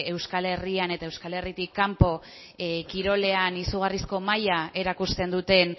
euskal herrian eta euskal herritik kanpo kirolean izugarrizko maila erakusten duten